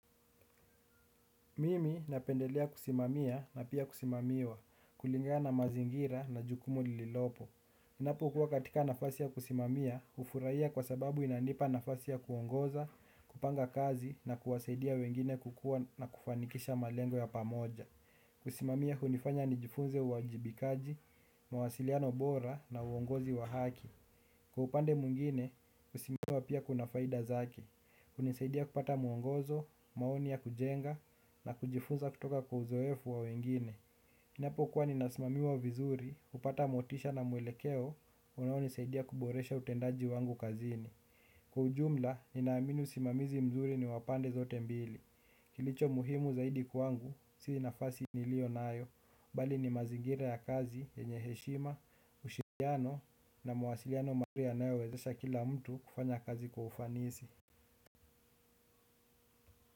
Mimi napendelea kusimamia na pia kusimamiwa, kulingana na mazingira na jukumu lililopo. Ninapokuwa katika nafasi ya kusimamia, hufurahia kwa sababu inanipa nafasi ya kuongoza, kupanga kazi na kuwasaidia wengine kukua na kufanikisha malengo ya pamoja. Kusimamia hunifanya nijifunze uwajibikaji, mawasiliano bora na uongozi wa haki. Kwa upande mwingine, kusimamiwa pia kuna faida zake. Hunisaidia kupata muongozo, maoni ya kujenga na kujifunza kutoka kwa uzoefu wa wengine. Ninapokuwa ninasimamiwa vizuri, hupata motisha na mwelekeo, unaonisaidia kuboresha utendaji wangu kazini. Kwa ujumla, ninaamini usimamizi mzuri ni wa pande zote mbili. Kilicho muhimu zaidi kwangu, si nafasi nilionayo bali ni mazingira ya kazi, yenye heshima, ushirikiano na mawasiliano mazuri yanayowezesha kila mtu kufanya kazi kwa ufanisi.